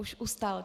Už ustal.